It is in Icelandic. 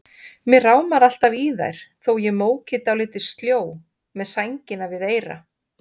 Mig rámar alltaf í þær þótt ég móki dálítið sljó, með sængina við eyra.